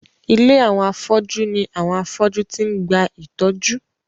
Ilé àwọn afọ́jú ní àwọn afọ́jú ti ń gba ìtọ́jú.